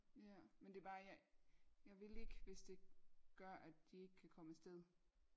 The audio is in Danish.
Ja men det er bare øh jeg vil ikke hvis det gør at de ikke kan komme afsted